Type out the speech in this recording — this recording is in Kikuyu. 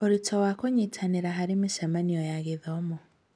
Ũritũ wa kũnyitanĩra harĩ mĩcemanio ya gĩthomo.